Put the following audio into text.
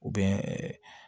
U bɛ